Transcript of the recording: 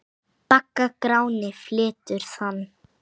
Bagga Gráni flytur þann.